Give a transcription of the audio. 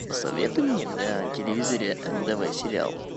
посоветуй мне на телевизоре нтв сериал